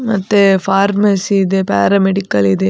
ಮತ್ತೆ ಫಾರ್ಮಸಿ ಇದೆ ಪ್ಯಾರಮೆಡಿಕಲ್‌ ಇದೆ.